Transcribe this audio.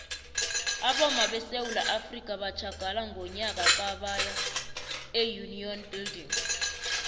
abomma besewula afrika batjhagala ngonyaka ka baya eunion building